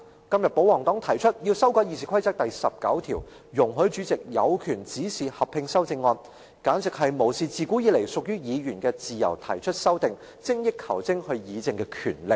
今天保皇黨提出要修改《議事規則》第19條，容許主席有權指示合併修正案，簡直無視自古以來屬於議員自由提出修正案，精益求精議政的權利。